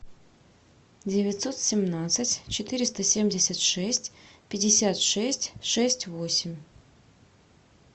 девятьсот семнадцать четыреста семьдесят шесть пятьдесят шесть шесть восемь